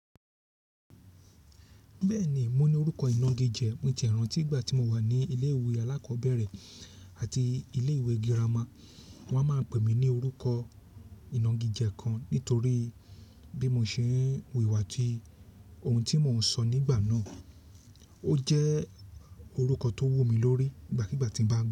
Bẹ́ẹ̀ni, mo ní orúkọ ìnagijẹ. Mo jẹ́ ìran tí ìgbà tí mo wà ní ilé ìwé alákọ̀ọ́bẹ̀rẹ̀ àti ilé ìwé girama. Wọ́n a má pèmí ní orúkọ ìnagijẹ kan nítorí bí mo ṣe ń wu ìwà àti ohun tí mo ń sọ nígbàná. Ó jẹ́ orúkọ tó wù mí lórí ìgbàkígbà tí ń bá.